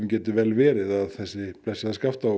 geti vel verið að þessi blessaða Skaftá